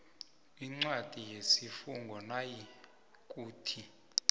incwadi yesifungo nayikuthi